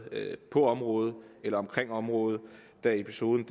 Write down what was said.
på området eller omkring området da episoden